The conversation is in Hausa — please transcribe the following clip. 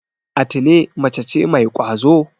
Atine mace ce mai ƙwazo.